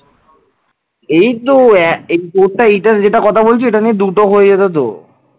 এইতো এ তোরটা এইটার যেটা কথা বলছিস এটা নিয়ে দুটো হয়ে যেত তো